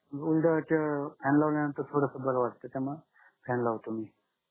उलट अं fan लावल्यानंतर थोडस बरं वाटय त्यामुळे fan लावतो मी